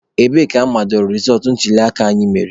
Ebee ka amadoro rezọtụ ntuliaka anyị mere?